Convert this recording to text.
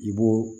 I b'o